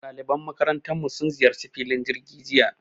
Ɗaliban makarantarmu sun ziyarci filin jirgi jiya